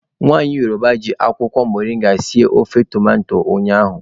Nwaanyị Yoroba jị akwụkwọ moringa sie ofe tomato ụnyaahụ.